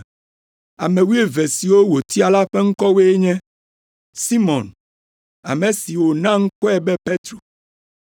Ame wuieve siwo wòtia la ƒe ŋkɔwoe nye: Simɔn (ame si wòna ŋkɔe be Petro),